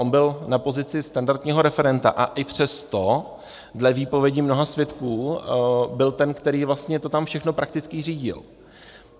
On byl na pozici standardního referenta a i přesto dle výpovědi mnoha svědků byl ten, který vlastně to tam všechno prakticky řídil.